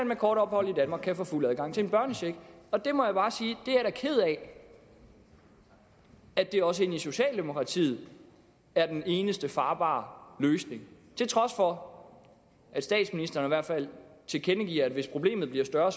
med kort ophold i danmark kan få fuld adgang til en børnecheck der må jeg bare sige er ked af at det også ind i socialdemokratiet er den eneste farbare løsning til trods for at statsministeren i hvert fald tilkendegiver at hvis problemet bliver større